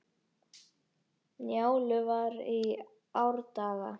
Njálu var í árdaga.